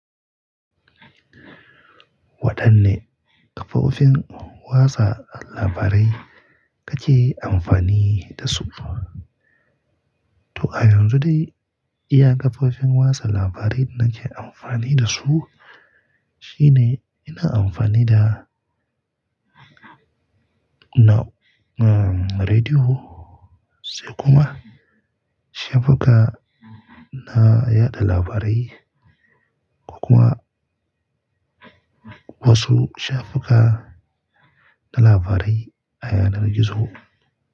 Waɗanne kafofin watsa labarai kake amfani da su? To a yanzu dai, iya kafofin watsa labarai nake amfani da su shine ina amfani da na, um, rediyo sai kuma shafuka na yada labarai ko kuma wasu shafuka na labarai a yanar gizo.